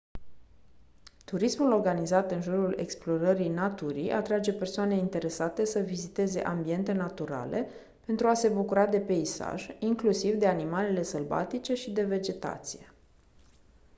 turismul organizat în jurul explorării naturii atrage persoane interesate să viziteze ambiente naturale pentru a se bucura de peisaj inclusiv de animalele sălbatice și de vegetație